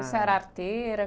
Você era arteira?